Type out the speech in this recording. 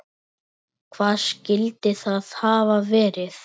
Hvað skyldi það hafa verið?